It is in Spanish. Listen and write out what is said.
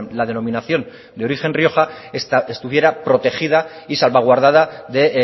la denominación de origen rioja estuviera protegida y salvaguardada de